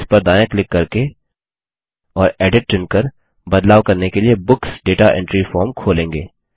और इस पर दायाँ क्लिक करके और एडिट चुनकर बदलाव करने के लिए बुक्स दाता एंट्री फॉर्म खोलेंगे